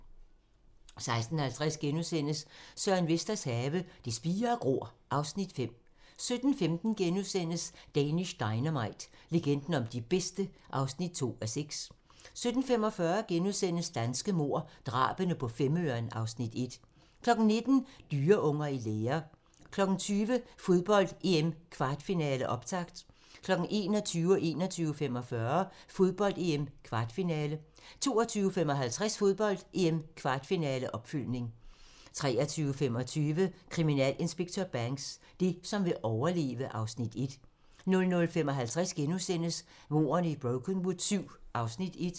16:50: Søren Vesters have - Det spirer og gror (Afs. 5)* 17:15: Danish Dynamite - legenden om de bedste (2:6)* 17:45: Danske mord - Drabene på Femøren (Afs. 1)* 19:00: Dyreunger i lære 20:00: Fodbold: EM - kvartfinale, optakt 21:00: Fodbold: EM - kvartfinale 21:45: Fodbold: EM - kvartfinale 22:55: Fodbold: EM - kvartfinale, opfølgning 23:25: Kriminalinspektør Banks: Det, som vil overleve (Afs. 1) 00:55: Mordene i Brokenwood VII (Afs. 1)*